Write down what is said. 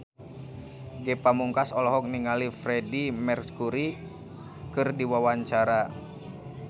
Ge Pamungkas olohok ningali Freedie Mercury keur diwawancara